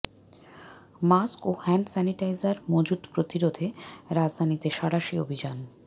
mask ও hand sanitizer মজুত প্রতিরোধে রাজধানীতে সাঁড়াশি অভিযান